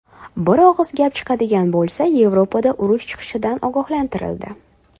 Bir og‘iz gap chiqadigan bo‘lsa, Yevropada urush chiqishidan ogohlantirildi.